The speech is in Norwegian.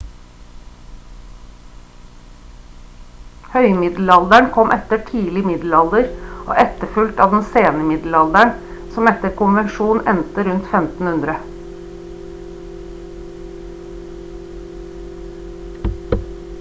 høymiddelalderen kom etter tidlig middelalder og etterfulgt av den sene middelalderen som etter konvensjon ender rundt 1500